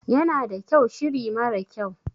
Yana da kyau shiri mara kyau.